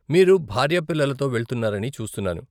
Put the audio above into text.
మీరు భార్య పిల్లలతో వెళ్తున్నారని చూస్తున్నాను.